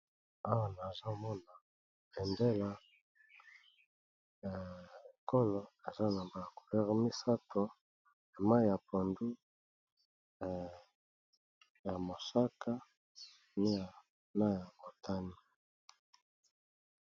Awa nazomona bendela ya ekolo eza na ba kulere misato mai ya pondu, ya mosaka pe na oyo ya motane.